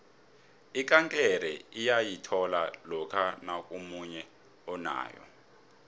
ikankere uyayithola lokha nakunomunye onayo